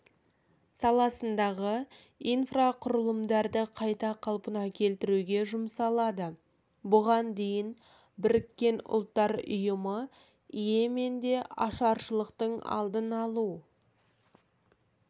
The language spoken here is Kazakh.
саласындағы инфрақұрылымдарды қайта қалпына келтіруге жұмсалады бұған дейін біріккен ұлттар ұйымы йеменде ашаршылықтың алдын алу